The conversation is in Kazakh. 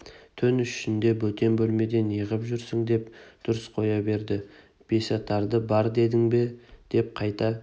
түн ішінде бөтен бөлмеде неғып жүрсің деп дүрсе қоя берді бесатары бар дедің бе деп қайта